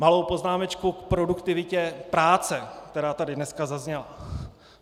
Malou poznámečku k produktivitě práce, která tady dneska zazněla.